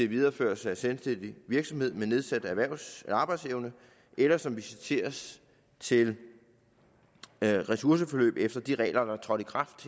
videreførelse af selvstændig virksomhed med nedsat erhvervs arbejdsevne eller som visiteres til ressourceforløb efter de regler der trådte i kraft